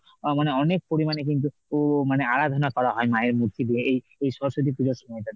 ও~ মানে অনেক পরিমাণে কিন্তু মানে আরাধনা করা হয়। মায়ের মূর্তি দিয়ে এই~ এই সরস্বতী পুজোর সময়টাতে।